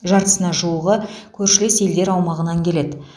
жартысына жуығы көршілес елдер аумағынан келеді